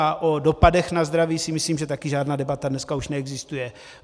A o dopadech na zdraví si myslím, že taky žádná debata dneska už neexistuje.